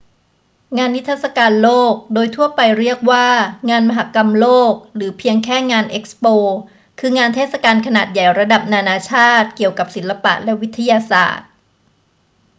งานนิทรรศการโลก โดยทั่วไปเรียกว่า งานมหกรรมโลก หรือเพียงแค่งาน เอ็กซ์โป คืองานเทศกาลขนาดใหญ่ระดับนานาชาติเกี่ยวกับศิลปะและวิทยาศาสตร์